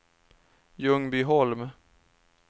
Ljungbyholm